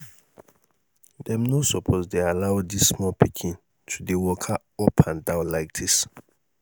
dem no suppose dey allow dis small pikin to dey waka up and down like dis